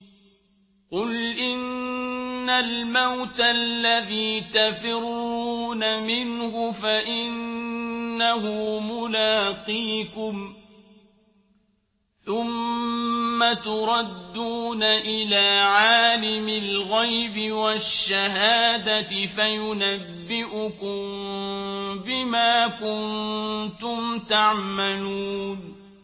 قُلْ إِنَّ الْمَوْتَ الَّذِي تَفِرُّونَ مِنْهُ فَإِنَّهُ مُلَاقِيكُمْ ۖ ثُمَّ تُرَدُّونَ إِلَىٰ عَالِمِ الْغَيْبِ وَالشَّهَادَةِ فَيُنَبِّئُكُم بِمَا كُنتُمْ تَعْمَلُونَ